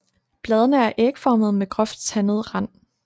Bladene er ægformede med groft tandet rand